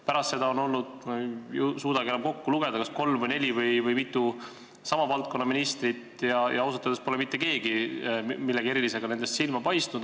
Pärast seda on olnud, ma ei suudagi enam kokku lugeda, kas kolm või neli sama valdkonna ministrit ja ausalt öeldes pole nendest mitte keegi millegi erilisega silma paistnud.